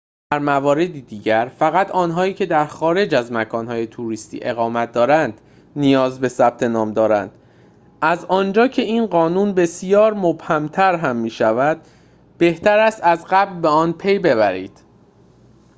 در موارد دیگر فقط آنهایی که در خارج از مکان‌های توریستی اقامت دارند نیاز به ثبت نام دارند از آنجا که این قانون بسیار مبهم‌تر هم می‌شود بهتر است از قبل به آن پی‌ببرید